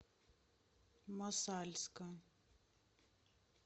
мосальска